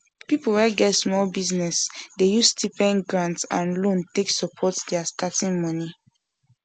people wey get small business dey use stipends grant and loan take support their starting money